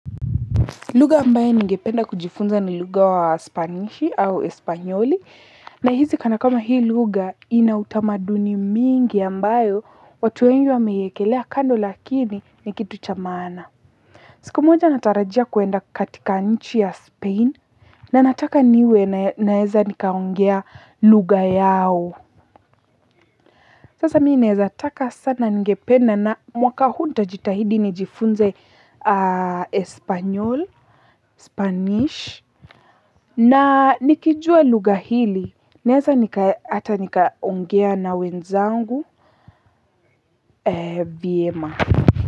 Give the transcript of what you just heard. Lugha ambayo ningependa kujifunza ni lugha wa spanishi au espanyoli na hizi kana kwamba hii lugha ina utamaduni mingi ambayo watu wengi wameiekelea kando lakini ni kitu cha maana. Siku moja natarajia kuenda katika nchi ya spain na nataka niwe naeza nikaongea lugha yao. Sasa mi naeza taka sana ningependa na mwaka huu ntajitahidi nijifunze espanyol, spanish na nikijua lugha hili naeza hata nikaongea na wenzangu vyema.